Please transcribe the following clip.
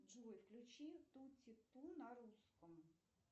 джой включи тутти ту на русском